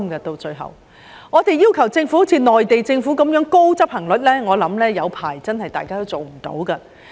如果我們要求政府達到內地政府的高執行率，我相信好一陣子也做不到。